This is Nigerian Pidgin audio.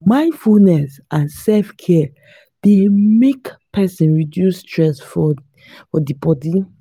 mindfulness and selfcare dey make person reduce stress for di bodi